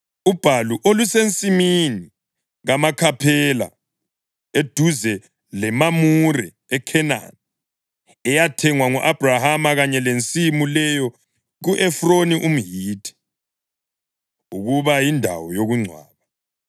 ubhalu olusensimini kaMakhaphela, eduze leMamure eKhenani, eyathengwa ngu-Abhrahama kanye lensimu leyo ku-Efroni umHithi, ukuba yindawo yokungcwaba.